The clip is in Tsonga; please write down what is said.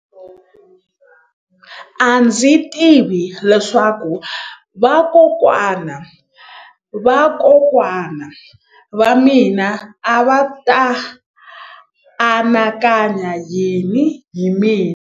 A ndzi tivi leswaku vakokwana-va-vakokwana va mina a va ta anakanya yini hi mina.